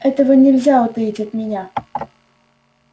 этого нельзя утаить от меня